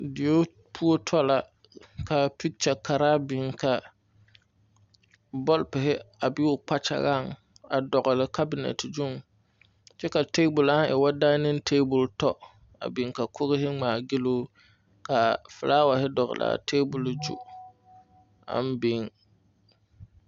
Dieo poɔ tɔ la ka pikya karaa biŋ bɔlpore a be o kpakyaŋaŋ a dɔgle kabinɛ gyuŋ kyɛ ka tabol aŋ e woo daɛniŋ tabol tɔ a biŋ ka koge ŋmaa giloo ka filaaware dɔgle a tabol zuŋ aŋ biŋ.